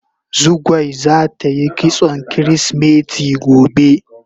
Zugwai zata yi kitson kirisimeti gobe.